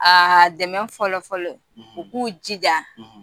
Aa dɛmɛ fɔlɔfɔlɔ; ; U k'u jijaa